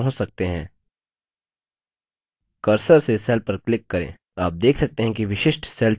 आप किसी भी cell पर पहुँच सकते हैं cursor से cell पर क्लिक करें